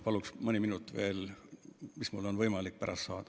Palun mõni minut veel, mis mul on võimalik pärast saada.